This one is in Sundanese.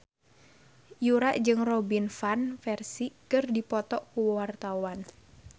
Yura jeung Robin Van Persie keur dipoto ku wartawan